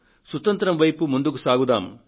సుతంత్రం వైపు ముందుకు సాగుదాం